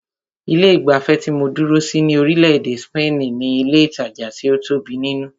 Ilé ìgbafẹ́ tí mó dúró sí ní orílẹ̀-èdè spaini ní ilé ìtajà tí o tóbi nínú.